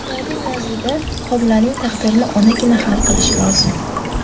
Ularning nazdida, homilaning taqdirini onagina hal qilishi lozim.